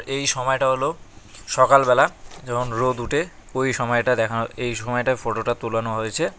এই সময়টা হল সকালবেলা যখন রোদ উঠে ওই সময়টা দেখানো এই সময়টায় ফটোটা তোলানো হয়েছে।